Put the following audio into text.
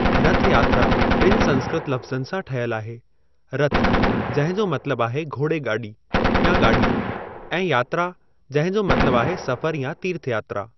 रथ यात्रा ॿिनि संस्कृत लफ्ज़नि सां ठयलु आहे, रथ, जंहिं जो मतलबु आहे घोड़ेगाॾी या गाॾी, ऐं यात्रा, जंहिं जो मतलबु आहे सफ़र या तीर्थयात्रा।